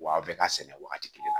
W'a bɛ ka sɛnɛ wagati kelen na